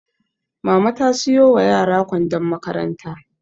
Mama ta siyo wa yara kwandon makaranta